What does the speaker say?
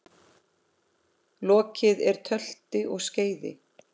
Lokið er tölti og skeiði.